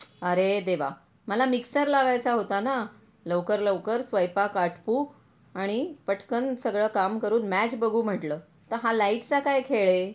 अरे देवा मला मिक्सर लावायचा होताना लवकर लवकर स्वयपाक आटपू आणि पटकण सगळं काम करून मॅच बघू म्हटलं तर हा लाईट चा काय खेळ आहे.